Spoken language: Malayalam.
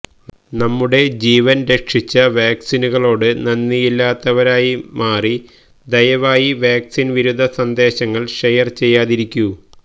നമ്മുടെ ജീവൻ രക്ഷിച്ച വാക്സിനുകളോട് നന്ദിയില്ലാത്തവരായി മാറി ദയവായി വാക്സിൻ വിരുദ്ധ സന്ദേശങ്ങൾ ഷെയർ ചെയ്യാതിരിക്കൂ